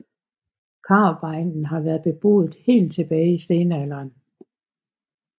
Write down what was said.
Karup egnen har været beboet helt tilbage i stenalderen